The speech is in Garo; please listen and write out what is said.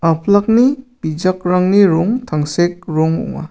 apilakni bijakrangni rong tangsek rong ong·a.